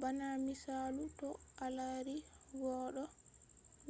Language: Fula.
bana misalu to a lari goddo